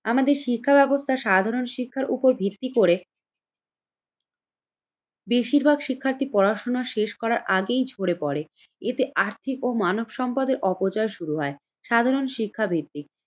আমাদের শিক্ষা ব্যবস্থা সাধারণ শিক্ষার উপর ভিত্তি করে বেশিরভাগ শিক্ষার্থী পড়াশোনা শেষ করার আগেই ঝরে পড়ে। এতে আর্থিক ও মানব সম্পদের অপচয় শুরু হয় সাধারণ শিক্ষাবৃত্তি